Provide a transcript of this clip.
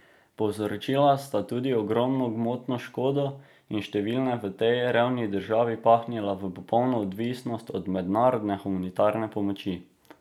Povzročila sta tudi ogromno gmotno škodo in številne v tej revni državi pahnila v popolno odvisnost od mednarodne humanitarne pomoči.